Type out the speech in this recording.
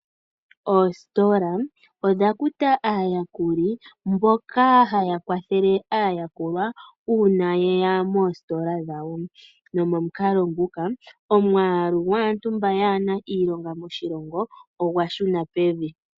Oositola odha kuta aayakuli mboka haya kwathele aayakulwa uuna ye ya moositola dhawo, nomomukalo nguka omwaalu gwaantu mba kaayena iilonga moshilongo ogwa shuna pevi.